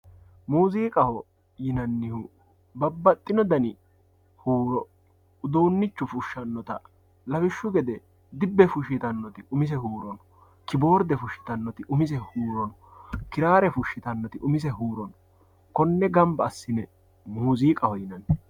muziiqaho yinannihu babbaxino dani huuro uduunnichu fushshanota lawishshu gede dibbe fushshitannoti umise huuro no kiboorde fushshitannoti umise huuro no kiraare fashshitannoti umise huuro no konne gamba assine muuziiqaho yinanni.